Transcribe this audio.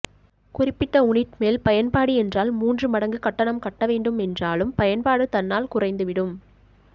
குறிப்பிட்ட உநிட் மேல் பயன்பாடு என்றால் மூன்று மடங்கு கட்டணம் கட்ட வேண்டும் என்றாலும் பயன்பாடு தன்னால் குறைந்து விடும்